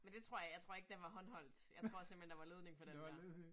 Men det tror jeg. Jeg tror ikke den var håndholdt. Jeg tror simpelthen der var ledning på den dér